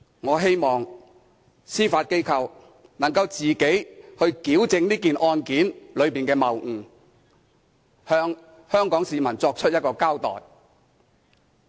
我希望司法機構能夠自行矯正這宗案件的謬誤，向香港市民作出一個交代。